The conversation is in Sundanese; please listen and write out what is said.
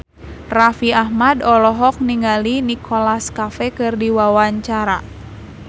Raffi Ahmad olohok ningali Nicholas Cafe keur diwawancara